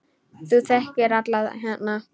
Þú þekkir alla hérna.